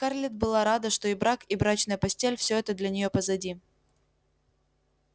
и скарлетт была рада что и брак и брачная постель всё это для нее позади